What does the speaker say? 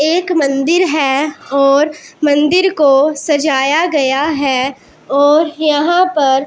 एक मंदिर है और मंदिर को सजाया गया है और यहां पर --